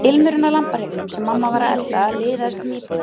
Ilmurinn af lambahryggnum sem mamma var að elda liðaðist um íbúðina.